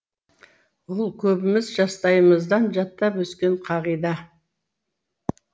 ол көбіміз жастайымыздан жаттап өскен қағида